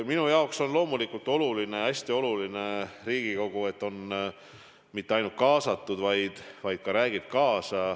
Minu jaoks on loomulikult hästi oluline, et Riigikogu ei ole mitte ainult kaasatud, vaid ka räägib kaasa.